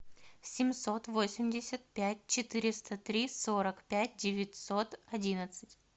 семьсот восемьдесят пять четыреста три сорок пять девятьсот одиннадцать